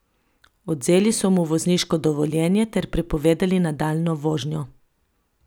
Odvzeli so mu vozniško dovoljenje ter prepovedali nadaljnjo vožnjo.